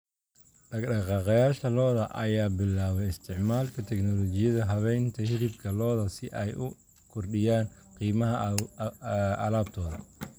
Dhaqaaqayaasha lo'da lo'da ayaa bilaabay isticmaalka teknoolojiyadda habaynta hilibka lo'da si ay u kordhiyaan qiimaha alaabtooda.